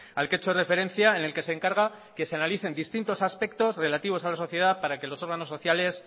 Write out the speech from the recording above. al que he hecho referencia en el que se encarga que se analicen distintos aspectos relativos a la sociedad para que los órganos sociales